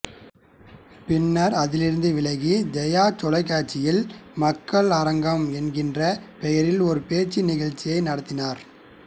பின்னர் அதிலிருந்து விலகி ஜெயா தொலைக்காட்சியில் மக்கள் அரங்கம் என்கிற பெயரில் ஒரு பேச்சு நிகழ்ச்சியை நடத்தினார்